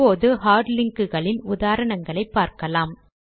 இப்போது hard link களின் உதாரணங்கள் பார்க்கலாம்